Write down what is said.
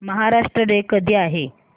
Maharashtra day कधी आहे